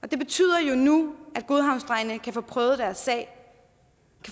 det betyder jo nu at godhavnsdrengene kan få prøvet deres sag